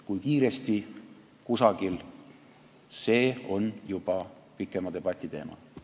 Kui kiiresti see kusagil toimub, see on juba pikema debati teema.